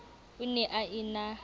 o ne a e na